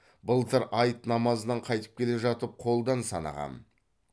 былтыр айт намазынан қайтып келе жатып қолдан санағам